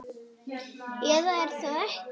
Eða er það ekki?